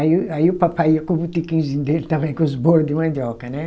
Aí o, aí o papai ia com o botequim dele também, com os bolo de mandioca, né?